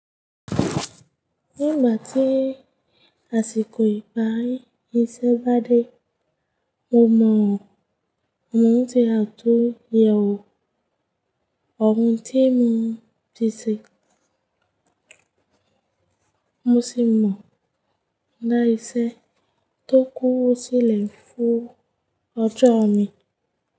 Nígbà tí àsìkò ìparí iṣẹ́ bá dé, mo mọ̀, mò ń ṣe àtúnyẹwò ohun tí mo ti ṣe, mo ṣì mọ̀ dá iṣẹ́ tó kúu sílẹ̀ fún ọjọ́ mi.